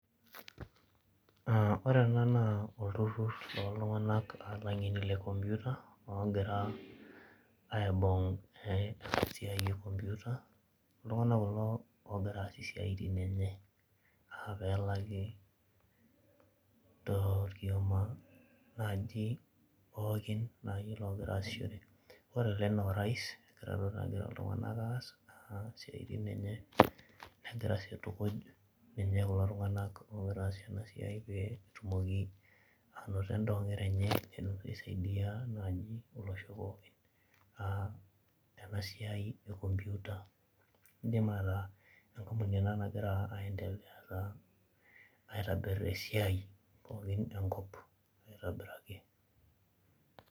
Aa ore ena naa oltururur looltung'anak aa ilang'eni le komputa ogira aibung' ena siai e komputa. Iltung'anak kulo oogira aas esiai tene aa pelaki torkioma naaji pookin naa iyiok loogira aaishore. Ore tee ena orais, itodolu ajo egira iltung'anak aas aa isiaitin enye, negira sii aitukuj ninye kulo tung'anak oogira aas ena siai pee etumoki anoto endaa oo nkera enye, peelotu aisaidia naaji olosho pookin aa ena siai e komputa. Iidim ataa enkampuni ena nagira aendelea ataa aitobiru esiai pookin tenkop aitobiraki.